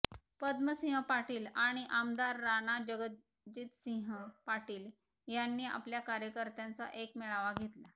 पद्मसिंह पाटील आणि आमदार राणा जगजितसिंह पाटील यांनी आपल्या कार्यकर्त्यांचा एक मेळावा घेतला